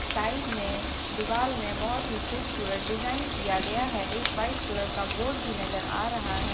Side में दीवाल में बहुत ही खूबसूरत डिजाइन किया गया है एक वाइट कलर का बोर्ड भी नजर आ रहा है।